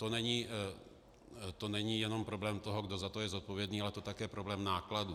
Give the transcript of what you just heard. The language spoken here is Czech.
To není jenom problém toho, kdo za to je zodpovědný, ale je to také problém nákladů.